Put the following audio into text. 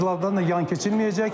bu mövzulardan da yan keçirilməyəcək.